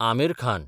Aamir Khan